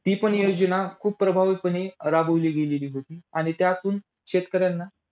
ती पण योजना खूप प्रभावीपणे राबवली गेली होती. आणि त्यातून शेतकऱ्यांना